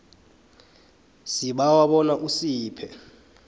sibawa bona usiphe